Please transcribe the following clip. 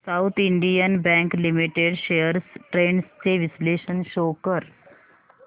south Indian bank limited shares trends चे विश्लेषण show कर